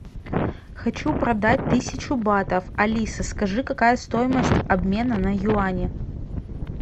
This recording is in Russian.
хочу продать тысячу батов алиса скажи какая стоимость обмена на юани